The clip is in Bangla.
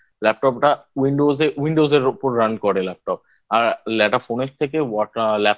Laptop টা Windows Windows এর ওপর Run করে Laptop আর একটা Phone এর থেকে